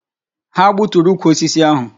Ha gbuturu ukwu osisi ahu